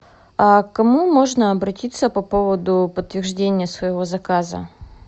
а к кому можно обратиться по поводу подтверждения своего заказа